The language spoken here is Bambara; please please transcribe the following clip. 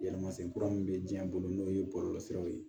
Yɛlɛma sen kura min bɛ diɲɛ bolo n'o ye bɔlɔlɔsiraw ye